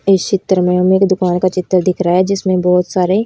इस चित्र में हमे एक दुकान का चित्र दिख रहा है जिसमें बहोत सारे--